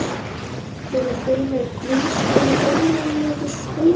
Fyrir þeim er grunnskólinn raunverulegur skóli.